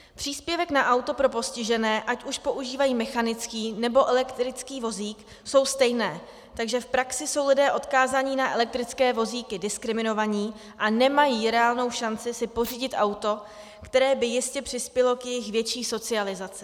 Příspěvky na auto pro postižené, ať už používají mechanický, nebo elektrický vozík, jsou stejné, takže v praxi jsou lidé odkázání na elektrické vozíky diskriminováni a nemají reálnou šanci si pořídit auto, které by jistě přispělo k jejich větší socializaci.